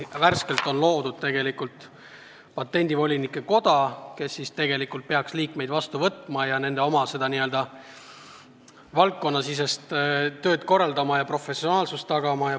Värskelt on ju loodud Patendivolinike Koda, kes tegelikult peaks liikmeid vastu võtma ja kogu valdkonnasisest tööd korraldama ja professionaalsuse tagama.